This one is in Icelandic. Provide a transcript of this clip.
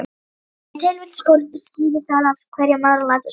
Ef til vill skýrir það af hverju maðurinn lætur svona.